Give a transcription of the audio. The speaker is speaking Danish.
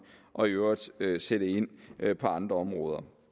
og i øvrigt sætte sætte ind på andre områder